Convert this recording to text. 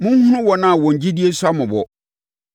Monhunu wɔn a wɔn gyidie sua mmɔbɔ.